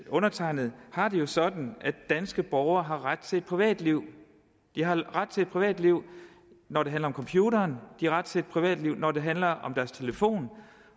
undertegnede har det jo sådan at danske borgere har ret til et privatliv de har ret til et privatliv når det handler om computeren de har ret til et privatliv når det handler om deres telefon